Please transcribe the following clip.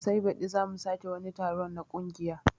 Sai baɗi zamu sake wani taron na kungiya